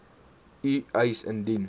u eis indien